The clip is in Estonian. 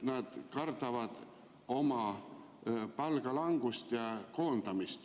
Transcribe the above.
Nad kardavad oma palga langust, koondamist.